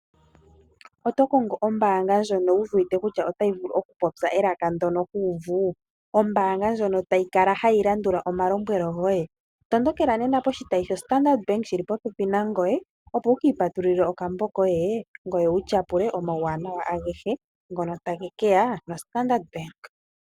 Oto kongo ombaanga ndjono wu wete kutya otayi vulu oku popya elaka ndono ho uvu, ombaanga ndjono tayi kala hayi landula omalombwelo goye, tondokela nena poshitayi shoStandard Bank shili popepi nangoye, opo wu ki ipatululille okambo koye, ngoye wu tyapule omauwanawa agehe ngono tage ke ya koStandard Bank.